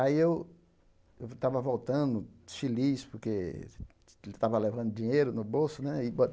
Aí eu eu estava voltando, feliz, porque estava levando dinheiro no bolso, né? E